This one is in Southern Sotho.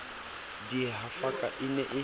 di e hafaka e ne